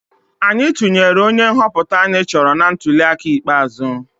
Anyị tụnyere onye nhọpụta anyị chọrọ na ntuliaka ikpeazụ